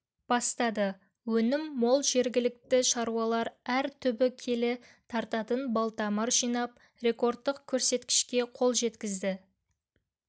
бастады өнім мол жергілікті шаруалар әр түбі келі тартатын балтамыр жинап рекордтық көрсеткішке қол жеткізді